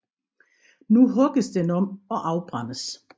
Nu hugges den om og afbrændes